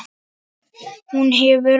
Hún hefur allt.